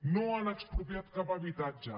no han expropiat cap habitatge